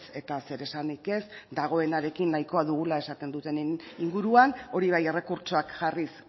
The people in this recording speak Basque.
eta zer esanik ez dagoenarekin nahikoa dugula esaten dutenen inguruan hori bai errekurtsoak jarriz